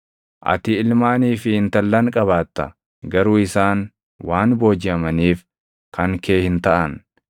Ati ilmaanii fi intallan qabaatta; garuu isaan waan boojiʼamaniif kan kee hin taʼan.